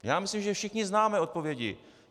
Já myslím, že všichni známe odpovědi.